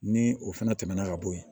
Ni o fana tɛmɛna ka bo yen